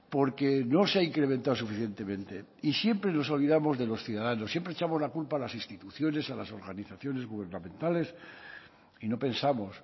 porque no se ha incrementado suficientemente y siempre nos olvidamos de los ciudadanos siempre echamos la culpa a las instituciones a las organizaciones gubernamentales y no pensamos